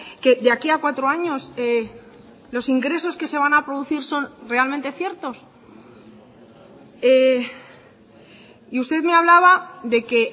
que de aquí a cuatro años los ingresos que se van a producir son realmente ciertos y usted me hablaba de que